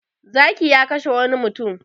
Zaki ya kashe wani mutum.